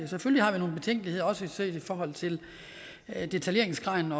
selvfølgelig har vi nogle betænkeligheder også set i forhold til detaljeringsgraden